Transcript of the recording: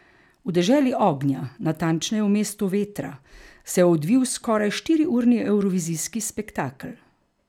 V deželi ognja, natančneje v mestu vetra, se je odvil skoraj štiriurni evrovizijski spektakel.